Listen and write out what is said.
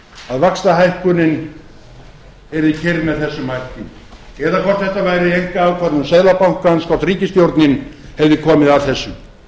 að vaxtahækkunin yrði keyrð með þessum hætti eða hvort þetta væri einkaákvörðun seðlabankans þótt ríkisstjórnin hefði komið að þessu